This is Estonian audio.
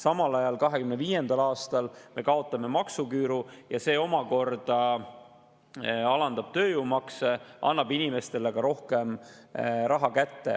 Samal ajal me kaotame 2025. aastal maksuküüru ja see omakorda alandab tööjõumakse, annab inimestele ka rohkem raha kätte.